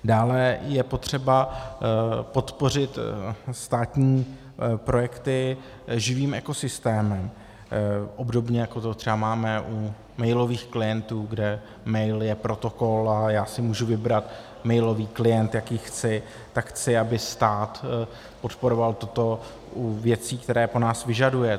Dále je potřeba podpořit státní projekty živým ekosystémem, obdobně, jako to třeba máme u mailových klientů, kde mail je protokol a já si můžu vybrat mailový klient, jaký chci, tak chci, aby stát podporoval toto u věcí, které po nás vyžaduje.